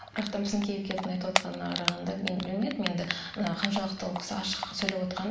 бірақтан біздің кейіпкердің айтып отырғанына қарағанда мен білмедім енді мына қаншалықты ол кісі ашық сөйлеп отырғанын